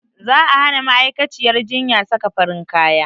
Za a hana ma'aikaciyyar jinya saka farin kaya